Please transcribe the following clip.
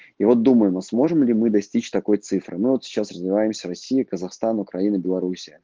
и вот думаю а сможем ли мы достичь такой цифры ну вот сейчас развиваемся россия казахстан украина белоруссия